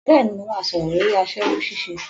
Bẹ́ẹ̀ni, mo máa sọ̀rọ̀ lórí aṣẹ́wó ṣíṣe